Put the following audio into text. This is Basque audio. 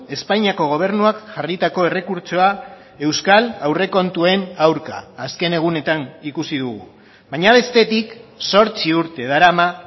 espainiako gobernuak jarritako errekurtsoa euskal aurrekontuen aurka azken egunetan ikusi dugu baina bestetik zortzi urte darama